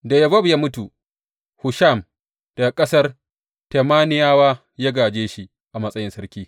Da Yobab ya mutu, Husham daga ƙasar Temaniyawa ya gāje shi a matsayin sarki.